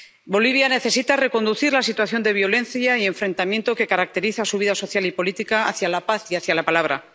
Bolivia necesita reconducir la situación de violencia y enfrentamiento que caracteriza su vida social y política hacia la paz y hacia la palabra.